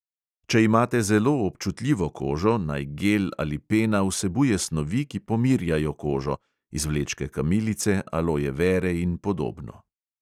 Če imate zelo občutljivo kožo, naj gel ali pena vsebuje snovi, ki pomirjajo kožo (izvlečke kamilice, aloje vere in podobno).